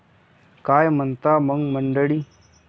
काय म्हणता मग मंडळी?